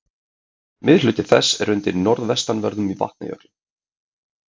Miðhluti þess er undir norðvestanverðum Vatnajökli.